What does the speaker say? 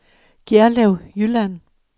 Gjerlev Jylland